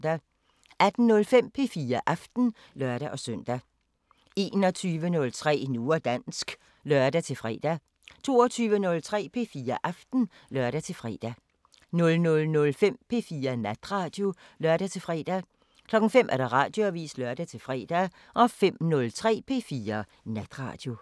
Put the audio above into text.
18:05: P4 Aften (lør-søn) 21:03: Nu og dansk (lør-fre) 22:03: P4 Aften (lør-fre) 00:05: P4 Natradio (lør-fre) 05:00: Radioavisen (lør-fre) 05:03: P4 Natradio